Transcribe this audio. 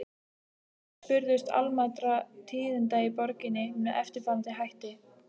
Menn spurðust almæltra tíðinda í borginni með eftirfarandi hætti